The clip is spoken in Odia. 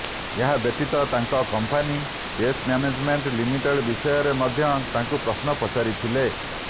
ଏହା ବ୍ୟତୀତ ତାଙ୍କ କମ୍ପାନୀ ଚେସ ମ୍ୟାନେଜମେଣ୍ଟ ଲିମିଟେଡ ବିଷୟରେ ମଧ୍ୟ ତାଙ୍କୁ ପ୍ରଶ୍ନ ପଚାରିଥିଲେ